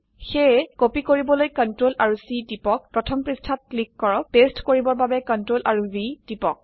সেয়ে কপি কৰিবলৈ Ctrl আৰু C টিপক প্ৰথম পৃষ্ঠাযত ক্লিক কৰক পেস্ট কৰিবৰ বাবে Ctrl আৰু V টিপক